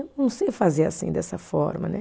Não sei fazer assim, dessa forma né.